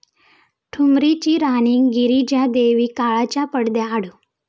ठुमरीची राणी गिरीजा देवी काळाच्या पडद्याआड